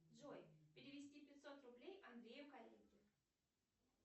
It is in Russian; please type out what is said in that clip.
джой перевести пятьсот рублей андрею коллеге